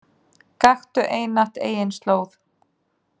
Gakktu einatt eigin slóð.